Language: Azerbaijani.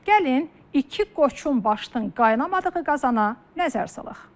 Gəlin iki qoçun başının qaynamadığı qazana nəzər salaq.